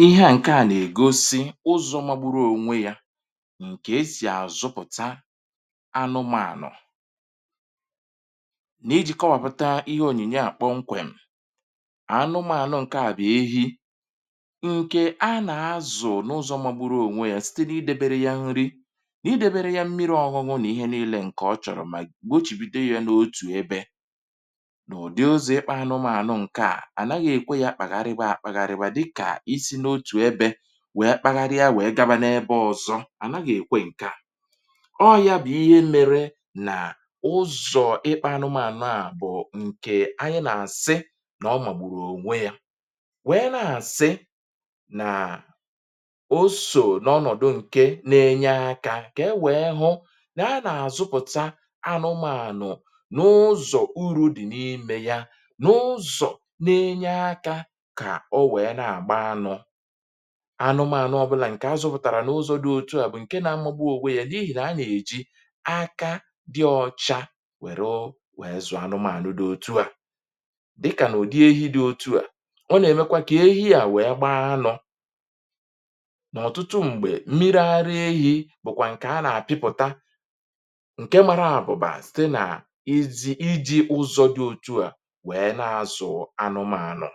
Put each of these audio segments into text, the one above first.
Èhe à ǹke à nà-ègosi ụzọ̇ magbụrụ ònwe yȧ, ǹkè e sì à zụpụ̀ta anụmȧnụ̀. nà iji̇ kọwàpụta ihe ònyìnye à kpọ nkwèm, ànụmȧnụ̀ ǹke à bụ̀ ehi ǹkè a nà-azụ̀ n’ụzọ̇ magbụrụ ònwe yȧ site n’idebere ya nri, n’idebere ya mmiri ọ̇hụ̇ṅụ̇, nà ihe niilė ǹkè ọ chọ̀rọ̀ mà gochibide ya n’otù ebe, n udị ụzọ ịkpa anụmanụ nke a, anaghị ekwe ya kpaghariwa akpahaị, dịkà isi n’otù ebė wèe kpagharị ya wèe gaba n’ebe ọzọ, à naghị̀ èkwe ǹke à. ọ yȧ bụ̀ ihe mėrė nà ụzọ̀ ịkpȧ anụmànụ àbụ̀ọ ǹkè, anyị nà àsị n’ọ mà gbùrù ònwe yȧ, wèe na-àsị nà o sò n’ọnọ̀dụ̀ ǹke na-enye akȧ kà e wèe hụ nà a nà àzụpụ̀ta anụmànụ̀ n’ụzọ̀ uru̇ dị̀ n’imė ya na ụzọ na enye aka kà o wèe na-àgba anọ̇. anụmànụ ọbụlà ǹkè azụ̇pụ̀tàrà n’ụzọ̇ dị otu à bụ̀ ǹke na-amụba òweghi, nà a nà-èji aka dị ọ̇chȧ wèru wèe zụ̀ anụmànụ dị otu. à dịkà nà ụ̀dị ehi dị otu à, ọ nà-èmekwa kà ehi à wèe gbaa anọ̇. nà ọ̀tụtụ m̀gbè mmiri ara ehi̇ bụ̀kwà ǹkè a nà-àpịpụ̀ta ǹke mara àbụ̀bà site nà iji̇ iji̇ ụzọ̇ dị otu à wèe na-azụ̀ anụmànụ̀.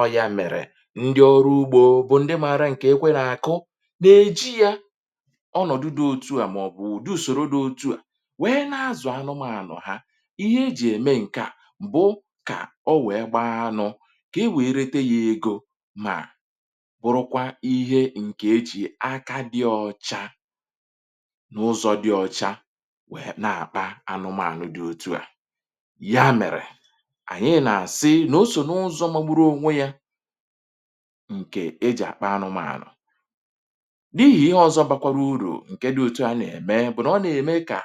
ọ ya mèrè ndị ọrụ ugbȯ bụ ndị mara ǹke ekwe nà àkụ, nà-èji ya ọnọ̀dụ dị òtu à màọbụ̀ ùde ùsòro dị òtu à wèe na-azụ̀ anụmȧnụ̀ ha. ihe e jì ème ǹke à bụ kà o wèe gbaa anụ, kà e wèe rete ya egȯ, mà bụrụkwa ihe ǹke e jì aka dị ọ̇cha n’ụzọ̇ dị ọ̀cha wèe na-àkpa anụmȧnụ̇ dị òtu à. ya mèrè anyị na asị na ọsọ na ụzọ magbụrụ ọnwe ya, ǹkè e jì àkpa anụmȧnụ̀. dị ichè ihe ọ̀zọ bȧkwara urù ǹke dị òtu à nà-ème bụ̀ nà, ọ nà-ème kà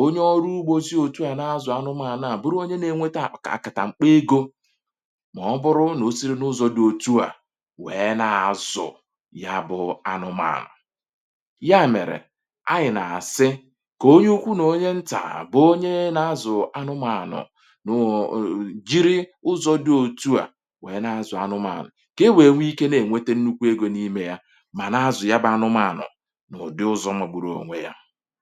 onye ọrụ ugbȯzi òtu à n’azụ̀ anụmȧnụ̀ à bụrụ onye nȧ-ènwete àkà a kàtà mkpọ egȯ mà ọ bụrụ nà o siri n’ụzọ̇ dị òtu à nwèe nà-azụ̀ ya bụ̇ anụmȧnụ̀. ya mèrè anyị̀ nà-àsị kà onye ukwu nà onye ntàa bụ̇ onye nà-azụ̀ anụmȧnụ̀ na-enwete nnukwu egȯ n’ime ya mà na-azụ ya bụ anụmanụ̀ n’ụ̀dị ụzọ̇ mụkpụrụ onwe yȧ.